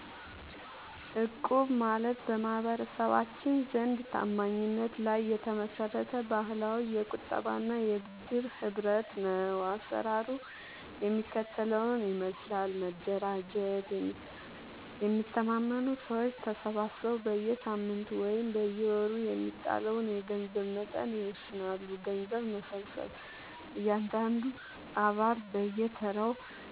እቁብ ማለት በማህበረሰባችን ዘንድ ታማኝነት ላይ የተመሰረተ ባህላዊ የቁጠባና የብድር ህብረት ነው። አሰራሩ የሚከተለውን ይመስላል፦ መደራጀት፦ የሚተማመኑ ሰዎች ተሰባስበው በየሳምንቱ ወይም በየወሩ የሚጣለውን የገንዘብ መጠን ይወስናሉ። ገንዘብ መሰብሰብ፦ እያንዳንዱ አባል በየተራው